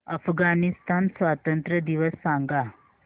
अफगाणिस्तान स्वातंत्र्य दिवस सांगा